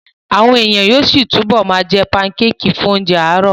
Àwọn èèyàn yóò túbọ̀ ma jẹ́ pankéèkì fún oúnjẹ àárọ̀